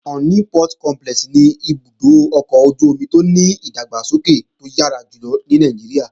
Onne Port Complex ni ibùdó ọkọ̀ ojú-omi tó ní ìdàgbàsókè tó yára jùlọ ní Nàìjíríà.